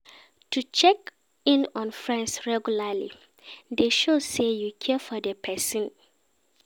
To de check in on friends regularly de show say you care for di persin